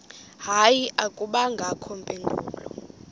hayi akubangakho mpendulo